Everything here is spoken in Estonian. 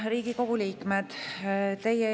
Riigikogu liikmed!